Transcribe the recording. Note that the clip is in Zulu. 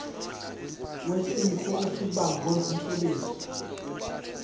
wesifo esibagwe ngumsebenzi